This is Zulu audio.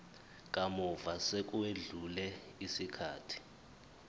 kamuva sekwedlule isikhathi